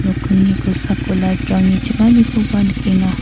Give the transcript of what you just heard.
nokkingni kosako light-rangni chinganikoba nikenga.